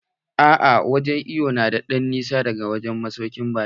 A'a wurin iwon na da ɗan nisa daga masaukin baƙin.